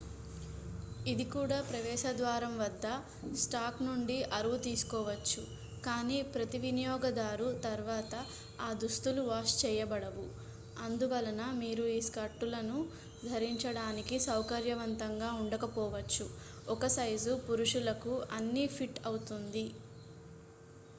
ఇది కూడా ప్రవేశ ద్వారం వద్ద స్టాక్ నుండి అరువు తీసుకోవచ్చు కానీ ప్రతి వినియోగదారు తర్వాత ఆ దుస్తులు వాష్ చేయబడవు అందువలన మీరు ఈ స్కర్టులను ధరించడానికి సౌకర్యవంతంగా ఉండకపోవచ్చు ఒక సైజు పురుషులకు అన్ని ఫిట్ అవుతుంది